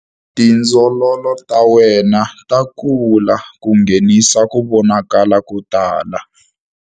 Tindzololo ta wena ta kula ku nghenisa ku vonakala ko tala.